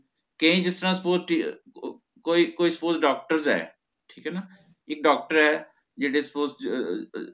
ਕੇ ਜਿਸ ਤਰ੍ਹਾਂ suppose ਅਹ ਅਹ ਕੋਈ suppose doctors ਹੈ ਠੀਕ ਹੈ ਨਾ ਕਿ doctor ਹੈ ਜਿਹੜੇ suppose ਅਹ ਅਹ